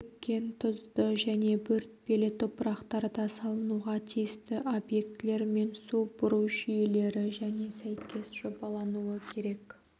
шөккен тұзды және бөртпелі топырақтарда салынуға тиісті объектілер мен су бұру жүйелері және сәйкес жобалануы керек